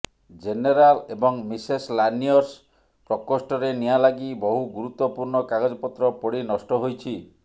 general ଏବଂ miscellaneous ପ୍ରକୋଷ୍ଠରେ ନିଆଁ ଲାଗି ବହୁ ଗୁରୁତ୍ୱପୂର୍ଣ୍ଣ କାଗଜପତ୍ର ପୋଡ଼ି ନଷ୍ଟ ହୋଇଛି